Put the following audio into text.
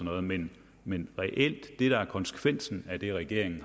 noget men men det der er konsekvensen af det regeringen